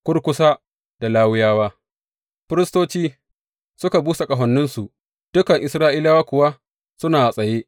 Kurkusa da Lawiyawa, firistoci suka busa ƙahoninsu, dukan Isra’ila kuwa suna a tsaye.